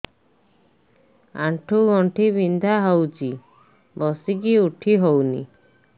ଆଣ୍ଠୁ ଗଣ୍ଠି ବିନ୍ଧା ହଉଚି ବସିକି ଉଠି ହଉନି